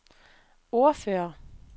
ordfører